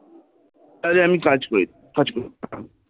ওখানে আমি কাজ করি কাজ করি